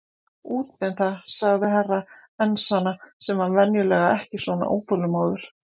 Út með þeð, sagði Herra Enzana sem var venjulega ekki svona óþolinmóður.